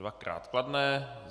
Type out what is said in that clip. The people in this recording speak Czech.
Dvakrát kladné.